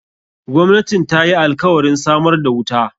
Gwamnatin ta yi alkawarin samar da wuta.